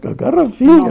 Com a garrafinha.